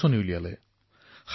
এই ভাষাৰ কোনো লিপি নাই